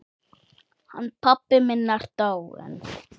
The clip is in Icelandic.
Hann pabbi minn er dáinn.